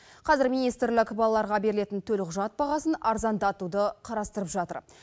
қазір министрлік балаларға берілетін төлқұжат бағасын арзандатуды қарастырып жатыр